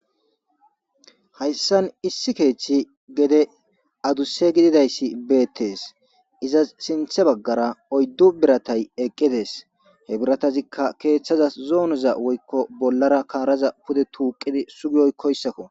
hayssan issi keeththi gede aduse gididayssi beettes izas sinthe baggara oyddu biratay eqqides he biratazikka keeththaza zoonoza woykko bollara kaaraza pude tuuqidi sugiyoy koyssakko